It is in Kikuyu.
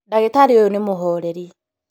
Ndagĩtarĩ ũyũ nĩ mũhoreri